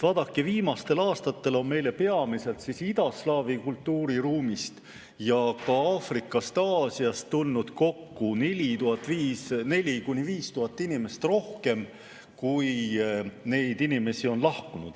Vaadake, viimastel aastatel on meile peamiselt idaslaavi kultuuriruumist ja ka Aafrikast ja Aasiast tulnud kokku 4000–5000 inimest rohkem, kui neid inimesi on lahkunud.